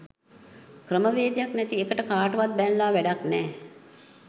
ක්‍රමවේධයක් නැති එකට කාටවත් බැනල වැඩක් නෑ.